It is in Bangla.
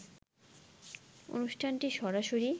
অনুষ্ঠানটি সরাসরি